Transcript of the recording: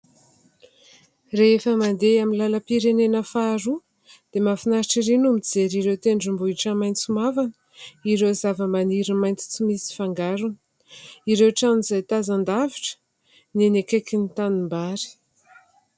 Rehefa mandeha amin'ny lalam-pirenena faharoa dia mahafinaritra ery no mijery ireo tendrombohitra maitso mavana, ireo zavamaniry maitso tsy misy fangarona, ireo trano izay tazan-davitra ny eny akaiky ny tanimbary.